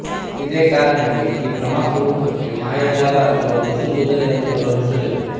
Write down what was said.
ಇದೇ ಕಾರಣಕ್ಕೆ ಈ ಭ್ರಮಾಸ್ವರೂಪಕ್ಕೆ ಮಾಯಾಜಲ ಅಥವಾ ಬಿಸಿಲ್ಗುದುರೆ ಅಂತಲೂ ಹೆಸರಿದೆ